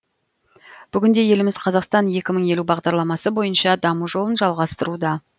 бүгінде еліміз қазақстан екі мың елу бағдарламасы бойынша даму жолын жалғастыруда